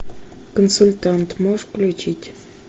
консультант можешь включить